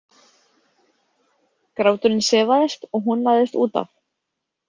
Gráturinn sefaðist og hún lagðist út af.